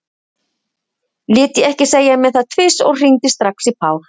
Lét ég ekki segja mér það tvisvar og hringdi strax í Pál.